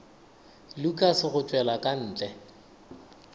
lukas go tšwela ka ntle